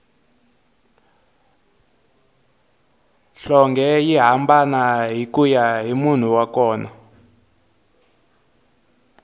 nhlonge yi hambana kuya hi munhu wa kona